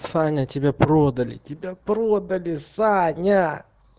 саня тебя продали тебя продали саня